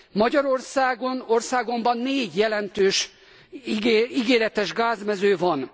Magyarországon, országomban, négy jelentős, ígéretes gázmező van.